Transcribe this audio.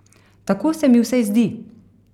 Tako se mi vsaj zdi.